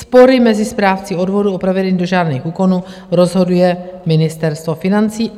Spory mezi správci odvodů o provedení dožádaných úkonů rozhoduje Ministerstvo financí."